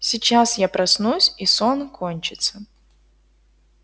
сейчас я проснусь и сон кончится